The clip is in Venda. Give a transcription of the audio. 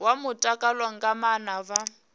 wa mutakalo nga maana vha